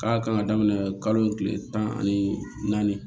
K'a kan ka daminɛ kalo kile tan ani naani